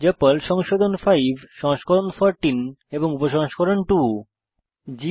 যা পর্ল সংশোধন 5 সংস্করণ 14 এবং উপসংস্করণ 2